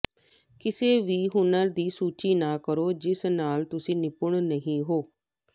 ਕਿਸੇ ਵੀ ਹੁਨਰ ਦੀ ਸੂਚੀ ਨਾ ਕਰੋ ਜਿਸ ਨਾਲ ਤੁਸੀਂ ਨਿਪੁੰਨ ਨਹੀਂ ਹੋ